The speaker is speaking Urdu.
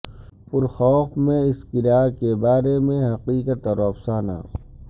پورخوف میں اس قلعہ کے بارے میں حقیقت اور افسانہ